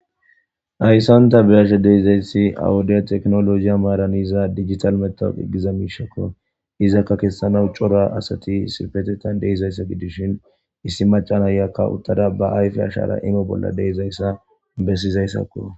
Hayssan ta be'ashe deizaysi ha wode tekkinolloje maaran yiza dijittale matawaqa giza mishshako izaka kesanawu cora asati issipetethan deizaysa gidishin issi macca naiya uttada be ayffe ashara imo bolla deizayssa bessizayssako.